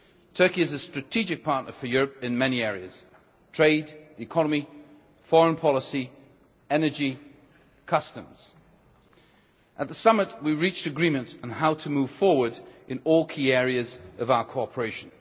Turkey is a strategic partner for Europe in many areas trade, the economy, foreign policy, energy and customs. At the summit, we reached agreement on how to move forward in all key areas of our cooperation.